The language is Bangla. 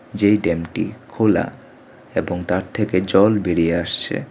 যেই ড্যামটি -টি খোলা এবং তার থেকে জল বেরিয়ে আসছে।